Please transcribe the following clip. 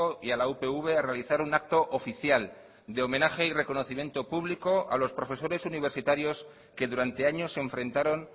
y a la upv a realizar un acto oficial de homenaje y reconocimiento público a los profesores universitarios que durante años se enfrentaron